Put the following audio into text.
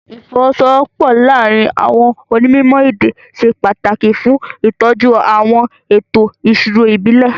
Ìfọwọ́sowọ́pọ̀ láàárín àwọn onímọ̀ èdè ṣe pàtàkì fún ìtọ́jú àwọn ètò ìṣirò ìbílẹ̀.